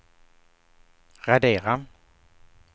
radera